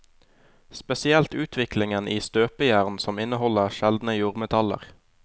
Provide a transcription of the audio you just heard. Spesielt utviklingen i støpejern som inneholder sjeldne jordmetaller.